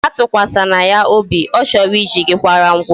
Atụkwasịla ya obi, ọ chọrọ I ji gi kwara ngwa ọrụ